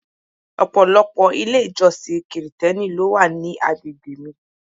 Ọ̀pọ̀lọpọ̀ ilé-ìjọsìn Kirìtẹ́nì ló wà ní àgbègbè mi.